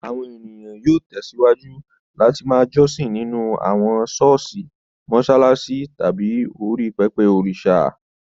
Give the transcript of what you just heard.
Àwọn ènìyàn yóò tẹ̀síwájú láti ma jọ́sìn nínú àwọn ṣọ́ọ̀ṣì, mọṣáláṣí tàbí orí pẹpẹ òrìṣà